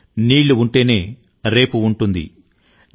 నీరు ఉంటేనే మనకు రేపు ఉంటుంది అని మనం వింటుంటాం